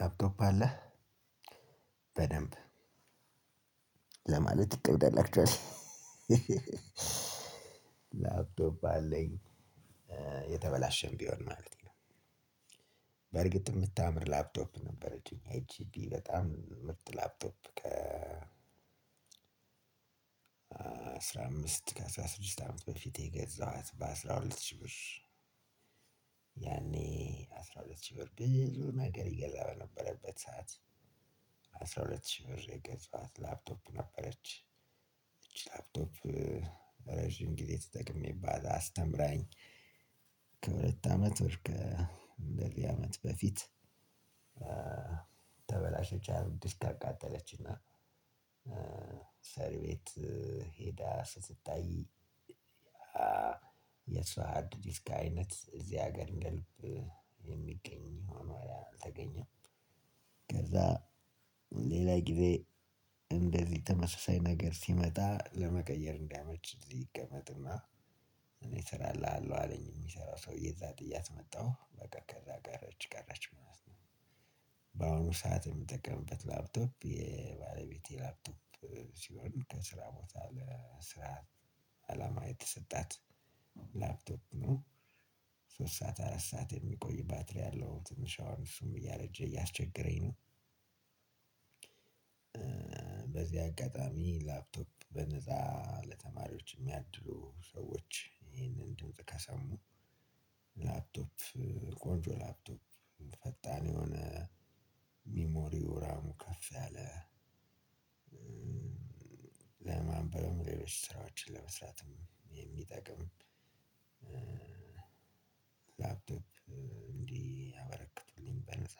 ላፕቶፕ አለህ በደንብ ለማለት ይከብዳል። አክችዋሊ ላፕዶፕ አለኝ የተበላሸም ቢሆን ማለቴ ነው። በርግጥ የምታምር ላፕቶፕ ነበረችን እኛ ኤቺፒ በጣም ምርጥ ላፕቶፕ ከ አስራ አምስት ከ አስራ ስድስት አመት በፊቴ የገዛኋት በአስራ ሁለት ሺህ ብር። ያኔ አስራ ሁለት ሺህ ብር ብዙ ነገር ይገዛ በነበረበት ሰዓት። አስራ ሁለት ሺህ ብር የገዛኋት ላፕቶፕ ነበረች። እቺ ታፕቶፕ ረጅም ጊዜ ተጠቅሜባት አስተምራኝ ከሁለት አመት ወር ከእንደዚህ አመት በፊት። ተበላሽች አሉ ዲስክ አቃጠለችና ሰሪ ቤት ሄዳ ስትታይ የሷ አድ ሀርድዲስክ አይነት እዚህ ሀገር እንደልብ የሚገኝ ሆኖ አልተገኘም። ከዛ ሌላ ጊዜ እንደዚህ ተመሳሳይ ነገር ሲመጣ ለመቀየር እንዲያመች እዚህ ይቀመጥና እኔ እሰራልሃለው አለኝ የሚሰራው ሰውዬ እዛ ጥያት መጣሁ በቃ ከዛ ቀረች ቀረች ማለት ነው። በአሁኑ ሰዓት የምጠቀምበት ላፕቶፕ የባለቤቴ ላፕቶፕ ሲሆን ከስራ ቦታ ለስራ ዐላማ የተሰጣት ላፕቶፕ ነው። ሶስት ሰዓት አራት ሰዓት የሚቆይ ባትሪ ያለው ትንሽ አሁን እሱም እያርውጀ እያስቸገረኝ ነው። በዚህ አጋጣሚ ላፕቶፕ በነፃ ለተማሪዎች የሚያድሉ ሰዎች ይሄንን ደምጽ ከሰሙ። ላፕቶፕ ቆንጆ ላፕቶፕ ፈጣን የሆነ ሚሞሪው ራሙ ከፍ ያለ ለማንበብ ሌሎች ስራዎችን ለመስራትም የሚጠቅም ላፕቶፕ እንዲያበረክቱልኝ በነፃ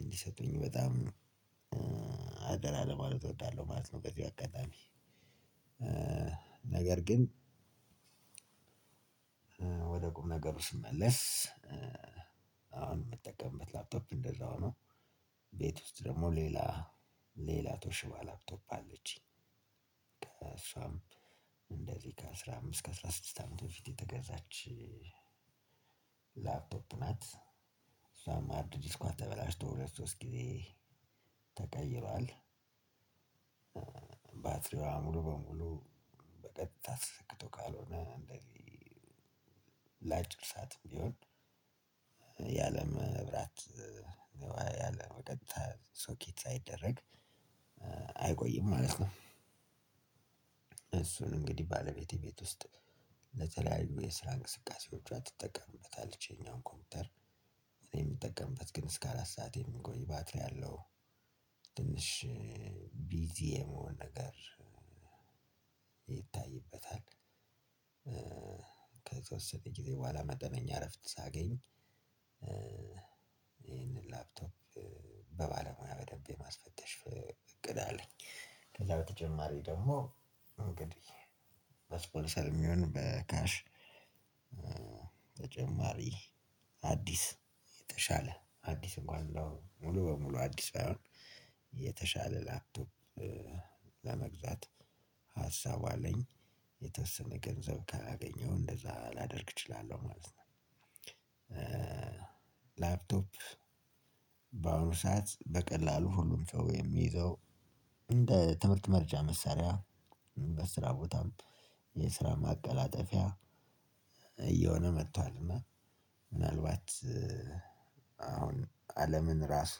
እንዲሰጡኝ በጣም ነው አደራ ለማለት እወዳለሁ ማለት ነው። በዚው አጋጣሚ ነገር ግን ወደ ቁም ነገሩ ስመለስ። አሁን የምጠቀምበት ላፕቶፕ እንደዛ ሆኖ ቤት ውስጥ ደግሞ ሌላ ተውሽባ ላፕቶፕ አለችኝ። ከእሷም እንደዚህ ከአስራ አምስት ከአስራ ስድስት አመት በፊት የተገዛች ላፕቶፕ ናት። እሷም ሃርድ ዲስኳ ተበላሽቶ ሁለት ሶስት ጊዜ ተቀይሯል ባትሪዋ ሙሉ በሙሉ በቀጥታ ተሰክቶ ካልሆነ እንደዚህ ላጭር ሳትም ቢሆን ያለመብራት ያለበቀጥታ ሶኬት ሳይደረግ አይቆይም ማለት ነው። እሱን እንግዲህ ባለቤቴ ቤት ውስጥ ለተለያዩ የስራ እንቅስቃሴዎቿ ትጠቀምበታለች ያኛውን ኮምፒውተር እኔ የምጠቀምበት ግን እስከ አራት ሰዓት የሚቆይ ባትሪ አለው። ትንሽ ቢዚ የመሆን ነገር ይታይበታል። ከተወሰነ ጊዜ በኋላ መደበኛ እረፍት ሳገኝ ይሄንን ላፕቶፕ በባለሙያ በደንብ የማስፈተሽ እቅድ አለኝ። ከዛ በተጨማሪ ደግሞ እንግዲህ በስፖንሰርም ይሁን በካሽ ተጨማሪ አዲስ የተሻለ አዲስ እንኳን ሙሉ በሙሉ አዲስ ባይሆን የተሻለ ላፕቶፕ ለመግዛት ሀሳቡ አለኝ የተወሰነ ገንዘብ ካገኘሁ እንደዛ ላደርግ እችላለሁ ማለት ነው። ላፕቶፕ በአሁኑ ሰዓት በቀላሉ ሁሉም ሰው የሚዘው እንደ ትምህርት መርጃ መሳሪያ በስራ ቦታም የስራ ማቀላጠፊያ እየሆነ መጥቷል እና ምናልባት አሁን አለምን እራሱ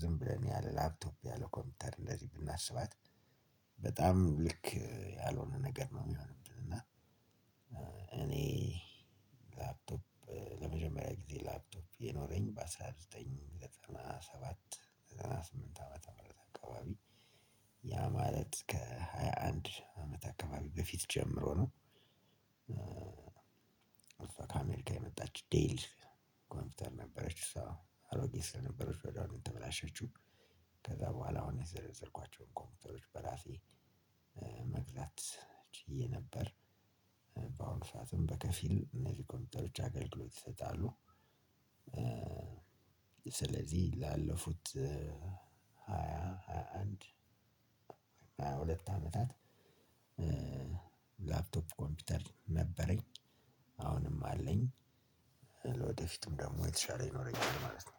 ዝም ብለን ያለ ላፕቶፕ ያለ ኮምፒተር እንደዚ ብናስባት በጣም ልክ ያልሆነ ነገር ነው። ሚሆንብን እና እኔ ላፕቶፕ ለመጀመሪያ ጊዜ ላፕቶፕ የኖረኝ በአንድ ሺህ ዘጠኝ መቶ ዘጠና ሰባት ዘጠና ስምንት ዓመተ ምህረት አካባቢ ያ ማለት ከሃያ አንድ አመት አካባቢ በፊት ጀምሮ ነው። አሷ ከአሜሪካ የመጣች ዴል ኮምፒውተር ነበረች እሷ አሮጊት ስለነበረች ወዲያው ነው የተበላሸችው። ከዛ በኋላ አሁን የዘረዘርኳቸውን ኮምፒውተሮች በራሴ መግዛት ችዬ ነበር። በአሁኑ ሰዓትም በከፊል እነዚህ ኮምፒውተሮች አገልግሎት ይሰጣሉ። ስለዚህ ላለፉት ሃያ አንድ ሃያ ሁለት አመታት ላፕቶፕ ኮምፒውተር ነበረኝ አሁንም አለኝ ለወደፊቱም ደግሞ የተሻለ ይኖረኛል ማለት ነው